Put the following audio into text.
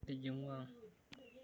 Tijing'u ang'.